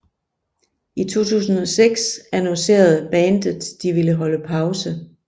I 2006 annoncerede Bandet de ville holde pause